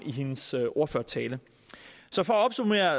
i sin sin ordførertale så for at opsummere